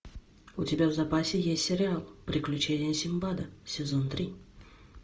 у тебя в запасе есть сериал приключения синдбада сезон три